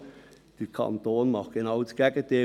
Und der Kanton macht genau das Gegenteil: